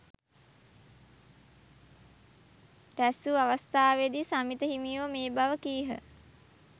රැස්වූ අවස්ථාවේදී සමිත හිමියෝ මේ බව කීහ.